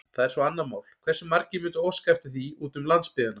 Það er svo annað mál, hversu margir mundu óska eftir því úti um landsbyggðina.